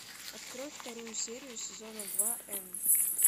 открой вторую серию сезона два н